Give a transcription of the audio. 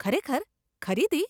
ખરેખર? ખરીદી?